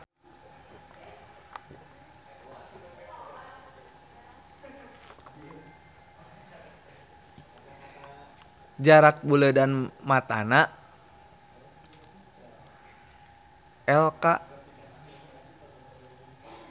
Jarak buleudan matana lk.